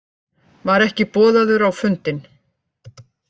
Var ekki boðaður á fundinn